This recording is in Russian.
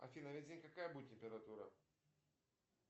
афина весь день какая будет температура